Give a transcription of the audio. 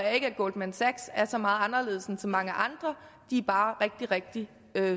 at goldman sachs er så meget anderledes end så mange andre de er bare rigtig rigtig